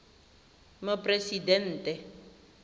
moporesidente